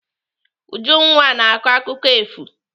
Ujunwa na-akọ akụkọ efu.